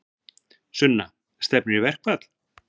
Sunna: Stefnir í verkfall?